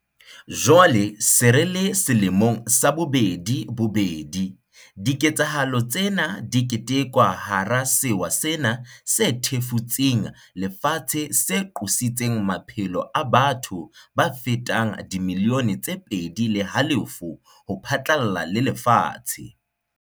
Jwale re se re le selemong sa bobedi bobedi, diketsahalo tsena di ketekwa hara sewa sena se thefutseng lefatshe se qositseng maphelo a batho ba fetang dimilione tse pedi le halofo ho phatlalla le lefatshe.